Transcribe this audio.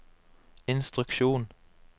instruksjon